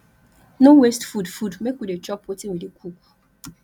no waste food food make we dey chop wetin we dey cook